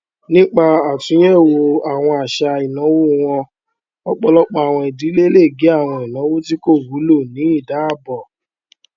nípa àtúnyẹwò àwọn àṣà ìnáwó wọn ọpọlọpọ àwọn ìdílé lè gé àwọn ináwó tí kò wúlò ní ìdáàbò